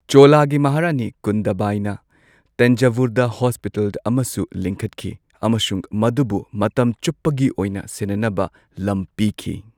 ꯆꯣꯂꯥꯒꯤ ꯃꯍꯥꯔꯥꯅꯤ ꯀꯨꯟꯗꯚꯥꯏꯅ ꯇꯥꯟꯖꯥꯚꯨꯔꯗ ꯍꯣꯁꯄꯤꯇꯥꯜ ꯑꯃꯁꯨ ꯂꯤꯡꯈꯠꯈꯤ ꯑꯃꯁꯨꯡ ꯃꯗꯨꯕꯨ ꯃꯇꯝ ꯆꯨꯞꯄꯒꯤ ꯑꯣꯏꯅ ꯁꯦꯟꯅꯅꯕ ꯂꯝ ꯄꯤꯈꯤ꯫